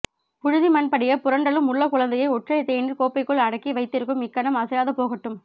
புழுதிமண் படிய புரண்டளும் உள்ளக்குழந்தையை ஒற்றைத் தேநீர் கோப்பைக்குள் அடக்கி வைத்திருக்கும் இக்கணம் அசையாது போகட்டும்